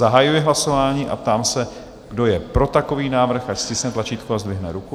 Zahajuji hlasování a ptám se, kdo je pro takový návrh, ať stiskne tlačítko a zdvihne ruku.